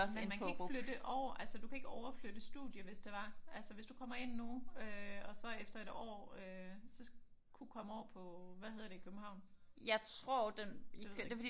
Men man kan ikke flytte over? Altså du kan ikke overflytte studie hvis det var? Altså hvis du kommer ind nu øh og så efter et år øh så kunne komme over på hvad hedder det i København? Det ved jeg ikke